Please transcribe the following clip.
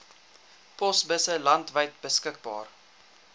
posbusse landwyd beskikbaar